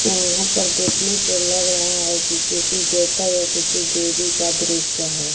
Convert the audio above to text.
यहाँ पर देखने से लग रहा है कि किसी देवता या किसी देवी का दृश्य है।